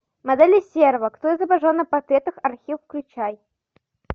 модели серова кто изображен на портретах архив включай